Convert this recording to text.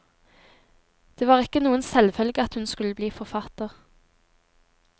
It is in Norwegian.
Det var ikke noen selvfølge at hun skulle bli forfatter.